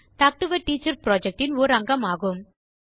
talk to a teacher projectஇன் ஓர் அங்கமாகும்